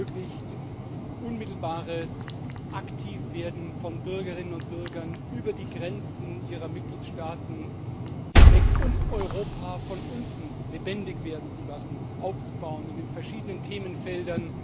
Es ermöglicht unmittelbares Aktivwerden von Bürgerinnen und Bürgern über die Grenzen ihrer Mitgliedstaaten hinweg, um Europa von unten lebendig werden zu lassen, aufzubauen in den verschiedenen Themenfeldern,